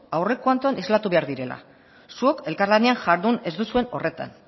aurrekontuan islatu behar dira zuok elkarlanean jardun ez duzuen horretan